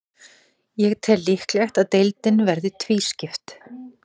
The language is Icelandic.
Ég tel líklegt að deildin verði tvískipt.